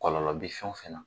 Kɔlɔlɔ bi fɛn o fɛn na.